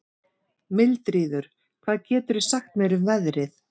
Mildríður, hvað geturðu sagt mér um veðrið?